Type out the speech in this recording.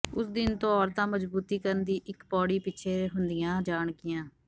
ਉਸ ਦਿਨ ਤੋਂ ਔਰਤਾਂ ਮਜ਼ਬੂਤੀਕਰਨ ਦੀ ਇਕ ਪੌੜੀ ਪਿੱਛੇ ਹੁੰਦੀਆਂ ਜਾਣਗੀਆਂ